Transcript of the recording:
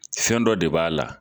Fɛn dɔ de b'a la.